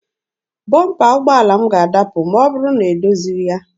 Bọmpa ụgbọala m ga-adapụ ma ọ bụrụ na m edozighị ya.